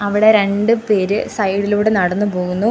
ഇവിടെ രണ്ട് പേര് സൈഡിലൂടെ നടന്ന് പോകുന്നു.